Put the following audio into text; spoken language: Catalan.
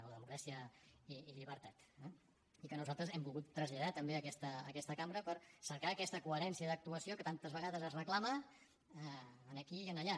o democràcia i llibertat eh i que nosaltres hem volgut traslladar també a aquesta cambra per cercar aquesta coherència d’actuació que tantes vegades es reclama aquí i allà